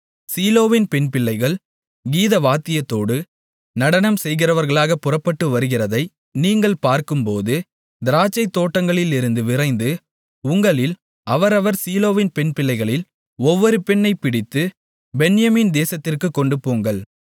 சீலோவின் பெண்பிள்ளைகள் கீதவாத்தியத்தோடு நடனம் செய்கிறவர்களாகப் புறப்பட்டு வருகிறதை நீங்கள் பார்க்கும்போது திராட்சைத் தோட்டங்களிலிருந்து விரைந்து உங்களில் அவரவர் சீலோவின் பெண்பிள்ளைகளில் ஒவ்வொரு பெண்ணைப் பிடித்துப் பென்யமீன் தேசத்திற்குக் கொண்டுபோங்கள்